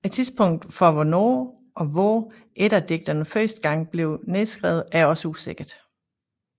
Tidspunktet for hvornår og hvor eddadigtene første gang blev nedskrevet er også usikkert